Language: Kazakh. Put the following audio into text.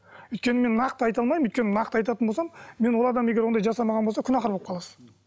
өйткені мен нақты айта алмаймын өйткені нақты айтатын болсам мен ол адам егер ондай жасамаған болса күнәһар болып қаласыз